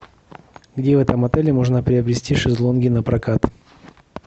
где в этом отеле можно приобрести шезлонги напрокат